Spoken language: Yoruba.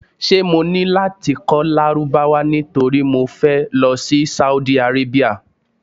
Ṣé mo ní láti kọ́ Lárúbáwá nítorí mo fẹ́ lọ sí Saudi Arabia?